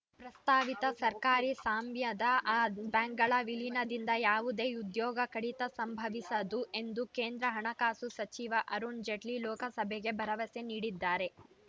ಪ್ರಸ್ತಾವಿತ ಸರ್ಕಾರಿ ಸ್ವಾಮ್ಯದ ಬ್ಯಾಂಕ್‌ಗಳ ವಿಲೀನದಿಂದ ಯಾವುದೇ ಉದ್ಯೋಗ ಕಡಿತ ಸಂಭವಿಸದು ಎಂದು ಕೇಂದ್ರ ಹಣಕಾಸು ಸಚಿವ ಅರುಣ್‌ ಜೇಟ್ಲಿ ಲೋಕಸಭೆಗೆ ಭರವಸೆ ನೀಡಿದ್ದಾರೆ